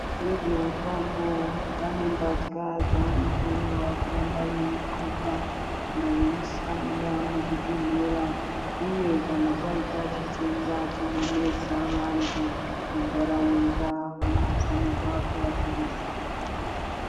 Vezvehutano vane mbatya dzavanofanirwa kuramba veigqoka kana veishanda muzvibhedhlera uye ,kana kwaita chitenda chinonesa vantu mundaraunda vanofanirwa kuvazivisa.